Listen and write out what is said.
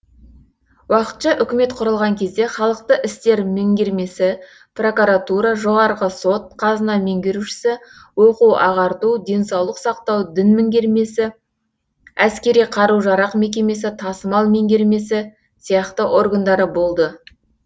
уақытша үкімет құрылған кезде халықтық істер меңгермесі прокуратура жоғарғы сот қазына меңгерушісі оқу ағарту денсаулық сақтау дін меңгермесі әскери қару жарақ мекемесі тасымал меңгермесі сияқты органдары болды